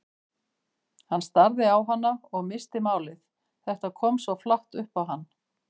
Hann starði á hana og missti málið, þetta kom svo flatt upp á hann.